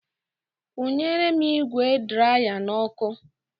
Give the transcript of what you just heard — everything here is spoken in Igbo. Nkwụnyere m ígwè draya n'ọkụ.